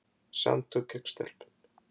Samtök gegn stelpum.